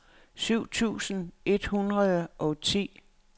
syv tusind et hundrede og ti